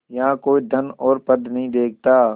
यहाँ कोई धन और पद नहीं देखता